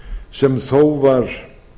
sem þó var